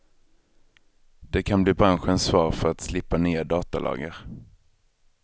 Det kan bli branschens svar för att slippa nya datalagar.